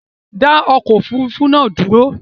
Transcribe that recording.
Dá okò òfurufú nàá dúró